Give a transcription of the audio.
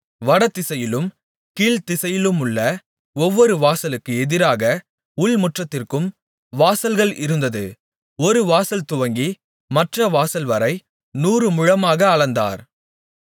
வடதிசையிலும் கீழ்த்திசையிலுமுள்ள ஒவ்வொரு வாசலுக்கு எதிராக உள்முற்றத்திற்கும் வாசல்கள் இருந்தது ஒரு வாசல்துவங்கி மற்ற வாசல்வரை நூறு முழமாக அளந்தார்